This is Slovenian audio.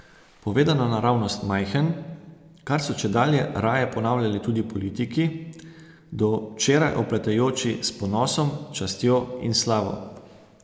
Povedano naravnost, Majhen, kar so čedalje raje ponavljali tudi politiki, do včeraj opletajoči s Ponosom, Častjo in Slavo.